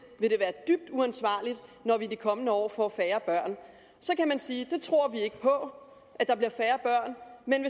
vil det være dybt uansvarligt når vi de kommende år får færre børn så kan man sige vi tror ikke på at der bliver færre men